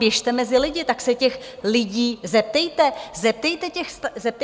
Běžte mezi lidi, tak se těch lidí zeptejte, zeptejte se těch starostů.